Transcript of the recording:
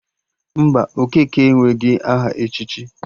Mba, Okeke enweghị aha echichi